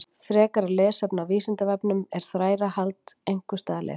Frekara lesefni á Vísindavefnum: Er þrælahald einhvers staðar leyft?